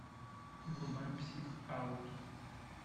врубай псих аут